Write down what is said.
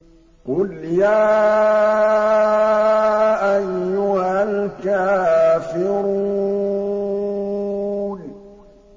قُلْ يَا أَيُّهَا الْكَافِرُونَ